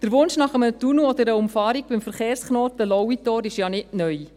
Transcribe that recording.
Der Wunsch nach einem Tunnel oder einer Umfahrung beim Verkehrsknoten Lauitor ist ja nicht neu.